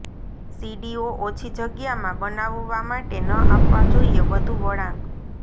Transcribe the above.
સીડીઓ ઓછી જગ્યામાં બનાવવા માટે ન આપવા જોઈએ વધું વળાંક